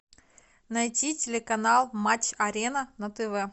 найти телеканал матч арена на тв